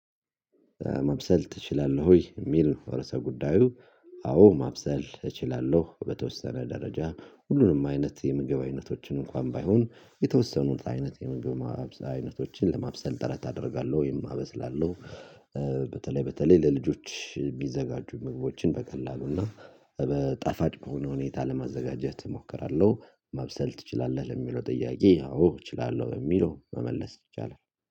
መብሰል ትችላለህ ወይ የሚል ነው? ርዕሰ ጉዳዩ። አዎ ማብሰል እችላለሁ በተወሰነ ደረጃ ሁሉንም አይነት የምግብ አይነቶችን እንኳን ባይሆን የተወሰኑት አይነት የምግብ ማብሰል አይነቶችን ለማብሰል ጥረት አደርጋለሁ ወይም አበስላለሁ። በተለይ በተለይ ለልጆች የሚዘጋጁ ምግቦችን በቀላሉ እና በጣፋጭ በሆነ ሁኔታ ለማዘጋጀት እሞክራለሁ። ማብሰል ትችላለህ ለሚለው ጥያቄ አዎ እችላለሁ በሚለው መመለስ ይቻላል።